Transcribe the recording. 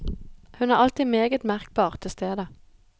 Hun er alltid meget merkbart til stede.